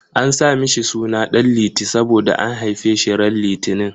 An sa mishi suna Ɗan Liti saboda an haife shi ran litinin.